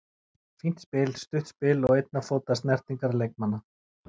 Fínt spil, stutt spil og einna fóta snertingar leikmanna.